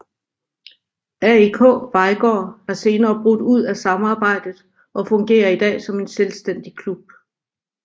AIK Vejgaard er senere brudt ud af samarbejdet og fungerer i dag som en selvstændig klub